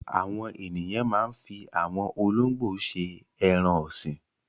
Àwọn ènìyàn máa ń fi àwọn olóńgbò ṣe ẹran-ọ̀sìn.